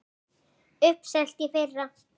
Uppselt í fyrra!